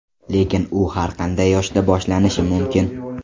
Lekin u har qanday yoshda boshlanishi mumkin.